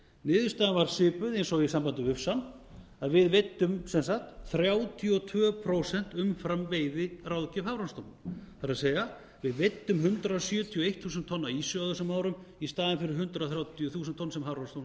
niðurstaðan varð svipuð eins og í sambandi við ufsann að við veiddum sem sagt þrjátíu og tvö prósent umfram veiðiráðgjöf hafrannsóknastofnun það er við veiddum hundrað sjötíu og eitt þúsund tonn af ýsu á þessum árum í staðinn fyrir hundrað þrjátíu þúsund tonn sem hafrannsóknastofnun lagði